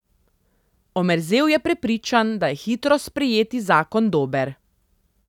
Omerzel je prepričan, da je hitro sprejeti zakon dober.